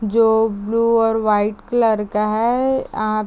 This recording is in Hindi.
जो ब्लू और वाइट कलर का है आप--